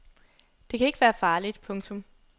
Det kan ikke være farligt. punktum